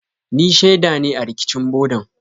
Ni shaida ne a rikicin bodan.